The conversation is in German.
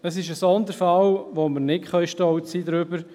Es ist ein Sonderfall, auf welchen wir nicht stolz sein können.